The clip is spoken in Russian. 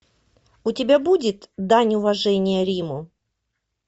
у тебя будет дань уважения риму